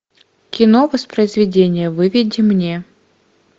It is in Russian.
кино воспроизведение выведи мне